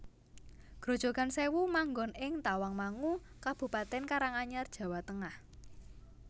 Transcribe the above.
Grojogan Sèwu manggon ing Tawangmangu Kabupatèn Karanganyar Jawa Tengah